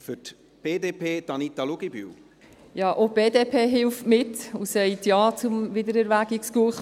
Auch die BDP hilft mit und sagt Ja zum Wiedererwägungsgesuch.